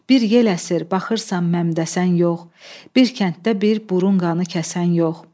Bir yer əsir, baxırsan Məmdəsən yox, bir kənddə bir burun qanı kəsən yox.